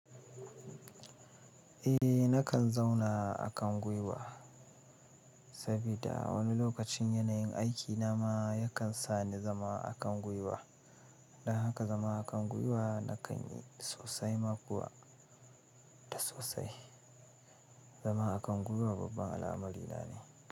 Eh na kan zauna a kan gwuiwa, sabida wani lokacin yanayin aiki na ma ya kan sani zama a kan gwuiwa. Don haka zama a kan gwuiwa nakan yi sosai ma kuwa da sosai. Zama a kan gwiwa babban al'amari na ne.